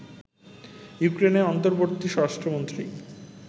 ইউক্রেনের অন্তর্বর্তী স্বরাষ্ট্রমন্ত্রী